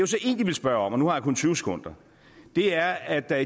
så egentlig vil spørge om og nu har jeg kun tyve sekunder er at der